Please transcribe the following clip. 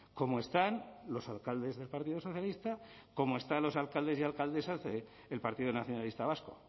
como están los alcaldes del partido socialista como están los alcaldes y alcaldesas del partido nacionalista vasco